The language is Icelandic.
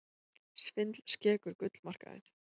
Svindl skekur gullmarkaðinn